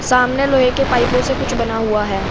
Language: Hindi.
सामने लोहे के पाइपों से कुछ बना हुआ है।